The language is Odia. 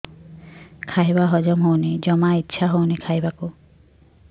ଖାଇବା ହଜମ ହଉନି ଜମା ଇଛା ହଉନି ଖାଇବାକୁ